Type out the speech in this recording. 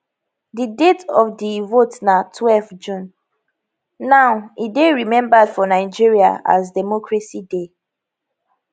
di date of di vote na twelve june now e dey remembered for nigeria as democracy day